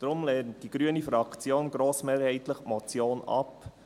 Deshalb lehnt die grüne Fraktion die Motion grossmehrheitlich ab.